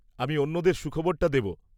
আমি অন্যদের সুখবরটা দেব!